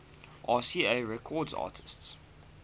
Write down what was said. rca records artists